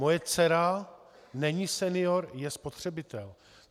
Moje dcera není senior, je spotřebitel.